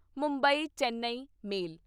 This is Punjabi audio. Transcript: ਮੁੰਬਈ ਚੇਨੱਈ ਮੇਲ